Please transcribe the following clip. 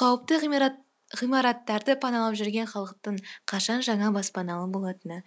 қауіпті ғимараттарды паналап жүрген халықтың қашан жаңа баспаналы болатыны